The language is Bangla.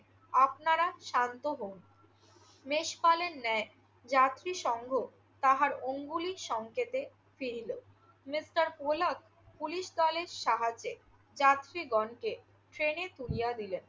আপনারা শান্ত হোন। মেষপালের ন্যায় যাত্রীসঙ্গ তাহার অঙ্গুলি সংকেতে ফিরিল। মিস্টার পোলক পুলিশ দলের সাহায্যে যাত্রীগণকে ট্রেনে তুলিয়া দিলেন